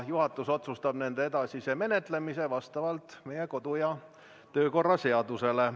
Juhatus otsustab nende edasise menetlemise vastavalt meie kodu- ja töökorra seadusele.